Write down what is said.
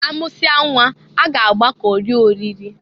Amụsịa nnwa a ga-agbọka rie oriri.